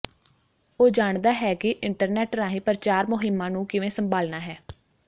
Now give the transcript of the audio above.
ਉਹ ਜਾਣਦਾ ਹੈ ਕਿ ਇੰਟਰਨੈਟ ਰਾਹੀਂ ਪ੍ਰਚਾਰ ਮੁਹਿੰਮਾਂ ਨੂੰ ਕਿਵੇਂ ਸੰਭਾਲਣਾ ਹੈ